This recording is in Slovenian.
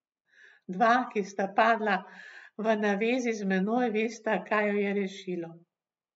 Dva, ki sta padla v navezi z menoj, vesta, kaj ju je rešilo!